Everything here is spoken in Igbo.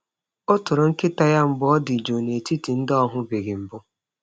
Ọ toro nkịta ya mgbe ọ dị jụụ n’etiti ndị ọ hụbeghị mbụ.